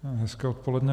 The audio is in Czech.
Hezké odpoledne.